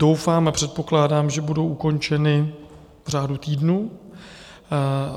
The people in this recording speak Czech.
Doufám a předpokládám, že budou ukončena v řádu týdnů.